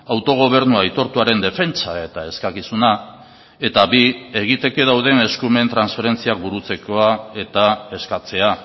autogobernua aitortuaren defentsa eta eskakizuna eta bi egiteke dauden eskumen transferentziak burutzekoa eta eskatzea